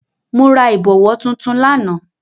Mo ra ìbọ̀wọ̀ tuntun lánàá.